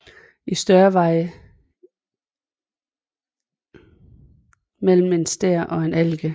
I størrelse varierer de mellem en stær og en allike